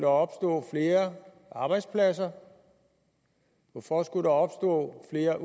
opstå flere arbejdspladser hvorfor skulle der opstå flere